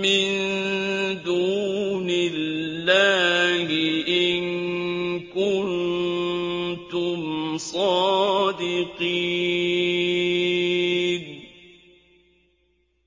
مِّن دُونِ اللَّهِ إِن كُنتُمْ صَادِقِينَ